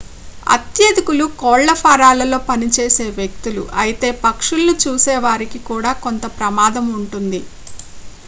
అత్యధికులు కోళ్ల ఫారాలలో పనిచేసే వ్యక్తులు అయితే పక్షులను చూసేవారికి కూడా కొంత ప్రమాదం ఉంటుంది